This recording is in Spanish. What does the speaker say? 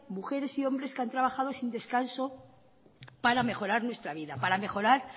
mujeres y hombres que han trabajado sin descanso para mejorar nuestra vida para mejorar